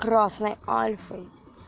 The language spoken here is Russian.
красный альфой